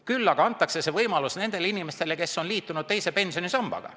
Küll aga antakse see võimalus nendele inimestele, kes on liitunud teise pensionisambaga.